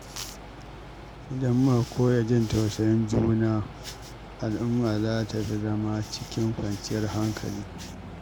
Idan muka koya jin tausayin juna, al’umma za ta fi zama cikin kwanciyar hankali.